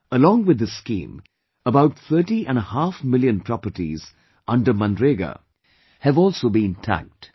Along with this scheme, about thirty and a half million properties under MNREGA have also been tagged